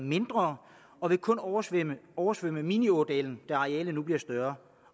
mindre og vil kun oversvømme oversvømme miniådalen da arealet bliver større